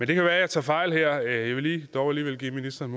det kan være jeg tager fejl her jeg vil dog alligevel give ministeren